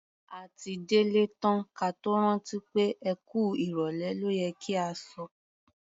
A ti délé tán ka tó rántí pé "ẹ kú ìrọ̀lẹ́ ló yẹ kí a sọ".